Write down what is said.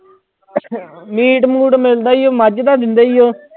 Meat ਮੂਟ ਮਿਲਦਾ ਹੀ ਹੈ ਮੱਝ ਦਾ ਦਿੰਦੇ ਹੀ ਹੈ।